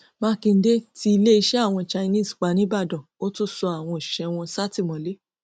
mákindé tí iléeṣẹ àwọn chinese pa níìbàdàn ó tún sọ àwọn òṣìṣẹ wọn sátìmọlé